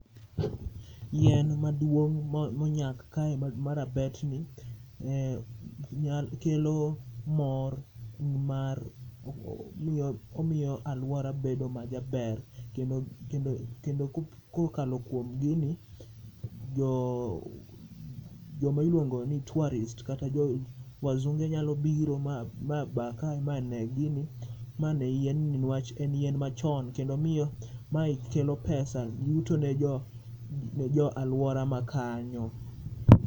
Yien maduong monyak kae ma rabet ni kelo mor mar, omiyo aluora bedo majaber kendo kokalo kuom gini, joma iluongo ni tourists, kata jo wazunge nyalo biro ma baa kae ma nee gini mane yien ni nikwach en yienn machon kendo miyo mae kelo pesa, yuto ne jo aluora makanyo